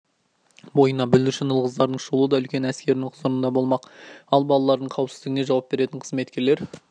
бойына бүлдіршін ұл-қыздардың шулы да үлкен әскерінің құзырында болмақ ал балалардың қауіпсіздігіне жауап беретін қызметкерлер